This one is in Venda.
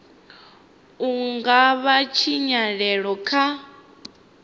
u nga vhanga tshinyalelo kha